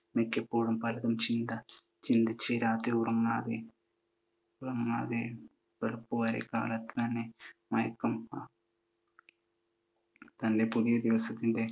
മിക്കപ്പോഴും പലതും ചിന്തിച്ചു രാത്രി ഉറങ്ങാതെ വെളുപ്പുവരെ, കാലത്തു മയങ്ങും. തൻ്റെ പുതിയ ദിവസത്തിൻ്റെ